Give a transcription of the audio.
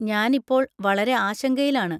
ഞാൻ ഇപ്പോൾ വളരെ ആശങ്കയിലാണ്.